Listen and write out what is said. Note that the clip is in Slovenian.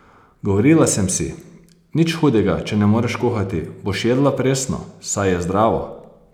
Govorila sem si: "Nič hudega, če ne moreš kuhati, boš jedla presno, saj je zdravo.